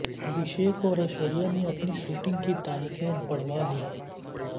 ابھیشیک اور ایشوریہ نے اپنی شوٹنگ کی تاریخیں بڑھوا لی ہیں